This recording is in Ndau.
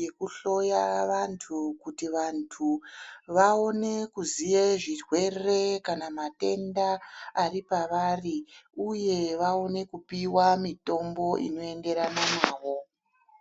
yekuhloya vantu kuti vantu, vaone kuziye zvirwere kana matenda ari pavari, uye vaone kupiwa mitombo inoenderana navo.